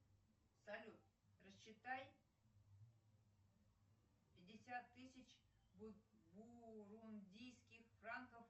салют рассчитай пятьдесят тысяч бурундийских франков